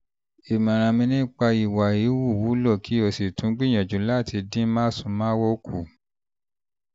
ìmọ̀ràn nípa ìwà híhù wúlò kí o sì tún gbìyànjú láti dín másùnmáwo kù